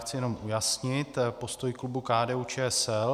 Chci jenom ujasnit postoj klubu KDU-ČSL.